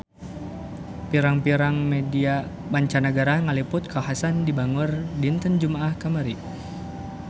Pirang-pirang media mancanagara ngaliput kakhasan di Bangor dinten Jumaah kamari